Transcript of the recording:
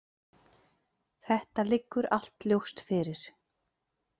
Þetta liggur allt ljóst fyrir.